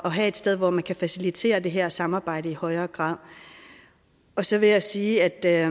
have et sted hvor man kan facilitere det her samarbejde i højere grad så vil jeg sige at